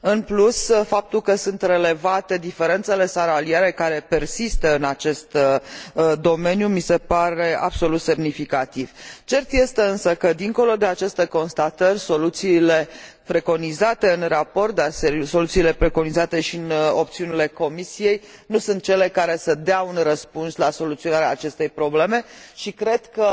În plus, faptul că sunt relevate diferențele salariale care persistă în acest domeniu mi se pare absolut semnificativ. Cert este însă că, dincolo de aceste constatări, soluțiile preconizate în raport, dar și soluțiile preconizate în opțiunile Comisiei nu sunt cele care să dea un răspuns la soluționarea acestei probleme și cred că,